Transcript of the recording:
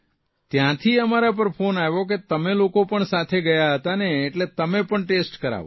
ત્યાંથી અમારા પર ફોન આવ્યો કે તમે લોકો પણ સાથે ગયા હતા ને એટલે તમે પણ ટેસ્ટ કરાવો